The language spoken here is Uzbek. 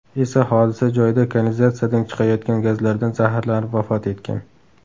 esa hodisa joyida kanalizatsiyadan chiqayotgan gazlardan zaharlanib vafot etgan.